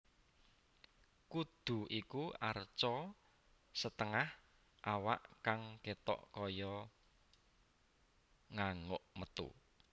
Kudu iku arca setengah awak kang ketok kaya nganguk metu